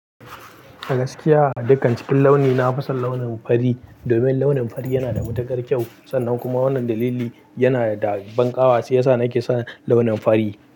A gaskiya a dukkan cikin launi na fason launin fari, domin launin fari yana da matuƙar kyau. Sannan kuma wannan dalili yana da banƙawa sai sa nake son launin fari.